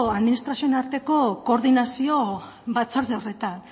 administrazioen arteko koordinazio batzorde horretan